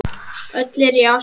Öll eru í Asíu.